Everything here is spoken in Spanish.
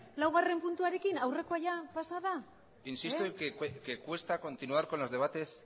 laugarren puntuarekin aurrekoa pasa da insisto que cuesta continuar con los debates